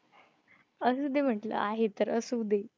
असुदे म्हंटलं आहे तर असुदे.